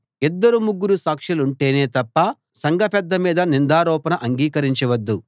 ఇద్దరు ముగ్గురు సాక్షులుంటేనే తప్ప సంఘ పెద్ద మీద నిందారోపణ అంగీకరించ వద్దు